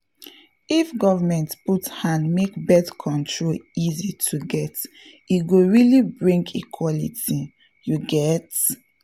if government put hand make birth control easy to get e go really bring equality — you get??